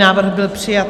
Návrh byl přijat.